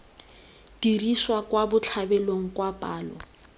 diriswa kwa botlhabelong kwa palo